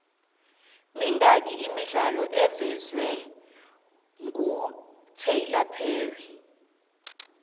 mingaki imidlalo evezwengutyler perry